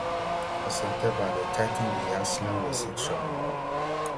for september dem tigh ten di asylum restrictions more